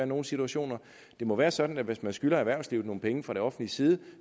nogle situationer det må være sådan at hvis man skylder erhvervslivet nogle penge fra det offentliges side